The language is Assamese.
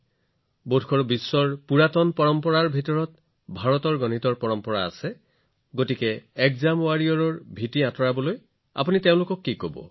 হয়তো পৃথিৱীৰ প্ৰাচীন পৰম্পৰাত ভাৰতৰ গণিতৰ পৰম্পৰা আছে গতিকে যদি পৰীক্ষা যোদ্ধাজনৰ ভয় দূৰ কৰিবলগীয়া হয় তেন্তে আপুনি তেওঁক কি কব